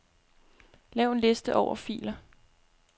Lav en liste over filer.